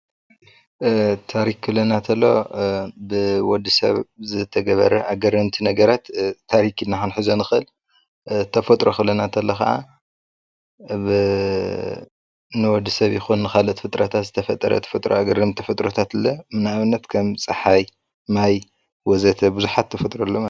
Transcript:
ታሪክ ክብለና ከተሎ ብወዲሰብ ዝተገበረ ኣገረምቲ ነገራት ታሪክ ኢልና ክንሕዞ ንእል፡፡ ተፈጥሮ ክብለና ከሎ ከኣ ንወዲሰብ ይኩን ንካልኦት ፍጥረታት ዝተፈጠረ ተፈጥራአዊ አገረምቲ ተፈጥሮታት ንኣብነት ከም ፀሓይ ማይ ወዘተ ቡዙሓት ተፈጥሮ ኣለዉና፡፡